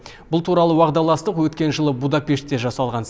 бұл туралы уағдаластық өткен жылы будапештте жасалған